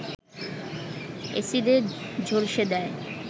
এ্যাসিডে ঝলসে দেয়